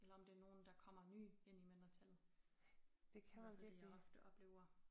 Eller om det er nogle der kommer nye ind i mindretallet det i hvert fald det jeg ofte oplever